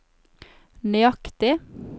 nøyaktig